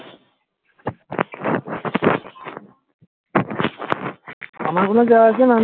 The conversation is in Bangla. আমার কোনো যায় আসেনা আমি